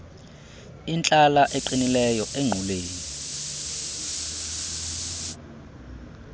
intlala eqinileyo engquleni